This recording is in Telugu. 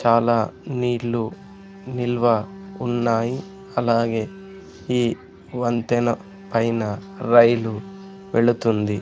చాలా నీళ్లు నిల్వ ఉన్నాయి అలాగే ఈ వంతెన పైన రైలు వెళుతుంది.